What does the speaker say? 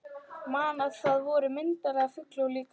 Man að það voru myndir af fuglum líka.